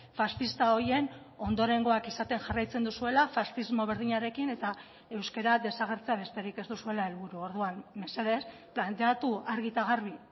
faxista horien ondorengoak izaten jarraitzen duzuela faxismo berdinarekin eta euskara desagertzea besterik ez duzuela helburu orduan mesedez planteatu argi eta garbi